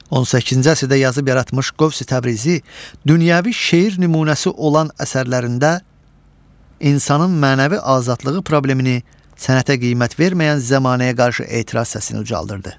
18-ci əsrdə yazıb yaratmış Qövsi Təbrizi dünyəvi şeir nümunəsi olan əsərlərində insanın mənəvi azadlığı problemini sənətə qiymət verməyən zəmanəyə qarşı etiraz səsini ucaldırdı.